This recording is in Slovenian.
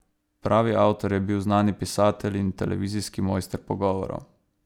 Pravi avtor je bil znani pisatelj in televizijski mojster pogovorov.